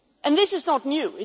This is not new.